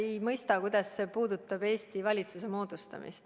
Ma ei mõista, kuidas see puudutab Eesti valitsuse moodustamist.